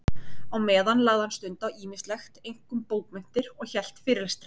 Á meðan lagði hann stund á ýmislegt, einkum bókmenntir, og hélt fyrirlestra.